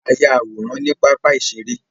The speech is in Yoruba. A yá àwòrán ní pápá iṣere